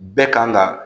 Bɛɛ kan ga